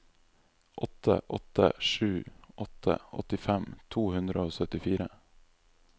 åtte åtte sju åtte åttifem to hundre og syttifire